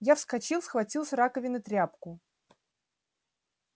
я вскочил схватил с раковины тряпку